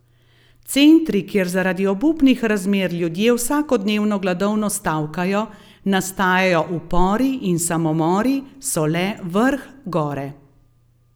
Centri, kjer zaradi obupnih razmer ljudje vsakodnevno gladovno stavkajo, nastajajo upori in samomori, so le vrh gore.